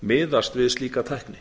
miðast við slíka tækni